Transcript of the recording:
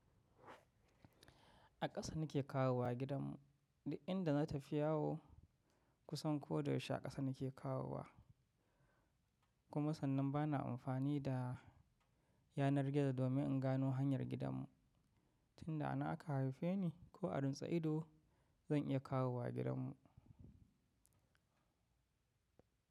A ƙasa nake kawowa gidan mu, duk inda na tafi yawo kusan ko da yaushe a ƙasa nake kawowa kuma sannan bana amfani da yanar gizo domin in gano hanyar gidan mu. Tinda anan aka haife ni ko a rintsa ido zan iya kawowa gidan mu.